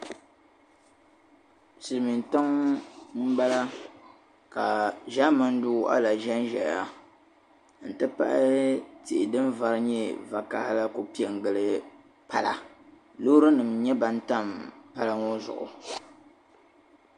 Silimiin tiŋ' m-bala ka ʒaamani doo a lahi ʒen ʒeya n-ti pahi tihi din'vari nyɛ vakahili la kuli pe n-gili pala loorinima n-nyɛ ban tam pala ŋɔ zuɣu.